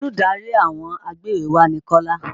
Olùdarí àwọn agbéwèéwá ni Kọ́lá.